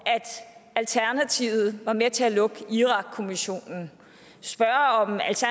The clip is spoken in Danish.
at alternativet var med til at lukke irakkommissionen